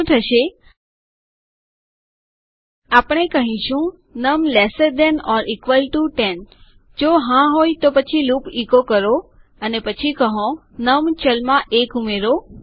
શું થશે આપણે કહીશું num lesser than or equal to 10 num 10 કરતા નાનું અથવા સમાન છે જો હા હોય તો પછી લૂપ ઇકો કરો અને પછી કહો નમ ચલમાં 1 ઉમેરો